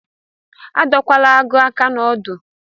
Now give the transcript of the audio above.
Adọkwala agụ aka na-odu!